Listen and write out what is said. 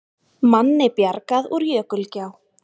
Manni bjargað úr jökulá